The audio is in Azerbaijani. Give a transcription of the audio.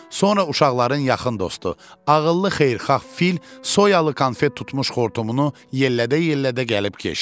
Sonra uşaqların yaxın dostu, ağıllı xeyirxah fil soyalı konfet tutmuş xortumunu yellədə-yellədə gəlib keçdi.